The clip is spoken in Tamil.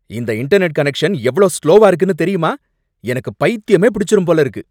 இந்த இன்டெர்நெட் கனெக்ஷன் எவ்ளோ ஸ்லோவா இருக்குன்னு தெரியுமா? எனக்கு பைத்தியமே பிடிச்சுடும் போல இருக்கு!